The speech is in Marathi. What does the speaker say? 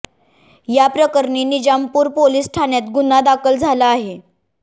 या प्रकरणी निजामपूर पोलिस ठाण्यात गुन्हा दाखल झाला आहे